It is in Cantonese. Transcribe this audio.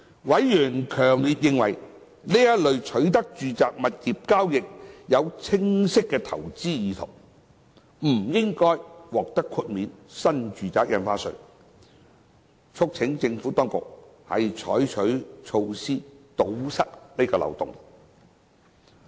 委員強烈認為，此類取得住宅物業的交易有清晰投資意圖，不應獲豁免新住宅印花稅，促請政府當局採取措施堵塞此漏洞。